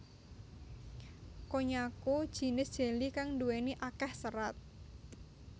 Konnyaku jinis jelly kang duweni akeh serat